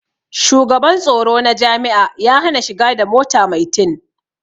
Shugaban tsoro na jami'a ya hana shiga da mota mai tin